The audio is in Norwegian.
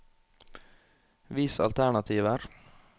Vis alternativer